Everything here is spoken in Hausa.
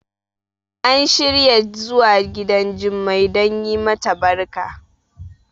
an shirya zuwa gidan Jummai don yi mata barka